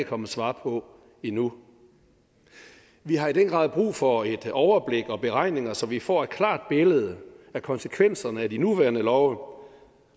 kommet svar på endnu vi har i den grad brug for et overblik og beregninger så vi får et klart billede af konsekvenserne af de nuværende love